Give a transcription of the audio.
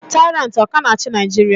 Taịrantị ọ ka na-achị Naijiria?